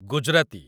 Gujarati